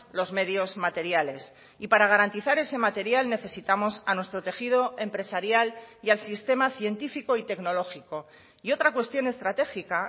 los medios materiales y para garantizar ese material necesitamos a nuestro tejido empresarial y al sistema científico y tecnológico y otra cuestión estratégica